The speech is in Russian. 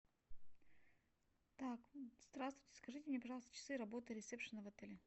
так здравствуйте скажите мне пожалуйста часы работы ресепшена в отеле